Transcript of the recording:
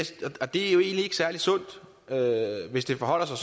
det er jo egentlig ikke særlig sundt hvis det forholder sig